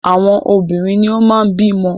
Àwọn obìnrin ni o máa ń bí ọmọ.